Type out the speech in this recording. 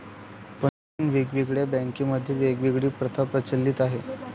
पण वेगवेगळ्या बँकामध्ये वेगवेगळी प्रथा प्रचलीत आहे.